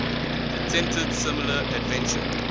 attempted similar adventure